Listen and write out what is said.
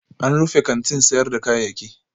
An rufe kantin sayar da kayayyaki